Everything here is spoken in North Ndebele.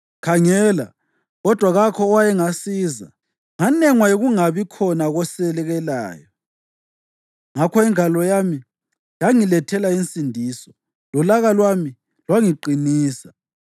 Ngakhangela, kodwa kakho owayengasiza. Nganengwa yikungabi khona kosekelayo, ngakho ingalo yami yangilethela insindiso lolaka lwami lwangiqinisa.